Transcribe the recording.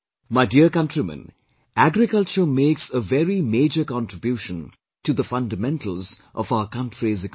My dear countrymen, agriculture makes a very major contribution to the fundamentals of our country's economy